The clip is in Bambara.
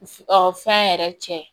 Ɔ fɛn yɛrɛ cɛ